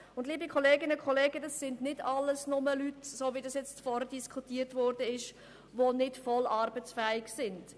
Liebe Kolleginnen und Kolleginnen, es handelt sich nicht nur um Leute, die nicht voll arbeitsfähig sind, wie dies soeben dargestellt worden ist.